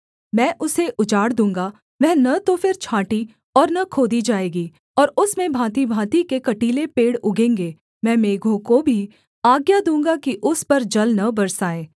मैं उसे उजाड़ दूँगा वह न तो फिर छाँटी और न खोदी जाएगी और उसमें भाँतिभाँति के कटीले पेड़ उगेंगे मैं मेघों को भी आज्ञा दूँगा कि उस पर जल न बरसाएँ